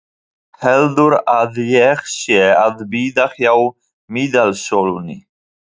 Heldur að ég sé að bíða hjá miðasölunni!